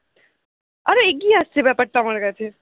আরো এগিয়ে আসছে ব্যাপার টা আমার কাছে